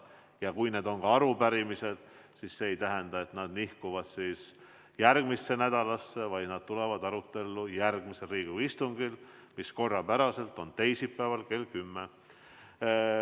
Ja kui need on arupärimised, siis need ei nihku järgmisse nädalasse, vaid tulevad arutelele järgmisel Riigikogu istungil, mis on teisipäeval kell 10.